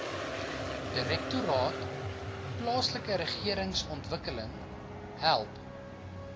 direktoraat plaaslikeregeringsontwikkeling help